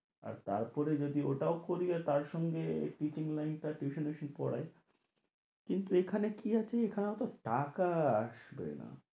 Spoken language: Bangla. আর তার পরে যদি ওটাও আর তার সঙ্গে teaching লাইনটা tuition এ এসেই পড়াই কিন্তু এখানে কি আছে এখানেও টাকা আসবে না